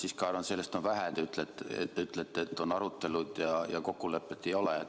Ma siiski arvan, et sellest on vähe, et te ütlete, et on arutelud, aga kokkulepet ei ole.